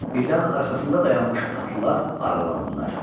Birdən arxasında dayanmış atlılar aralandılar.